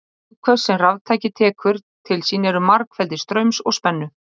Afköst sem raftæki tekur til sín eru margfeldi straums og spennu.